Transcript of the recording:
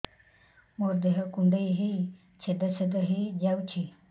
ମୋ ଦେହ କୁଣ୍ଡେଇ ହେଇ ଛେଦ ଛେଦ ହେଇ ଯାଉଛି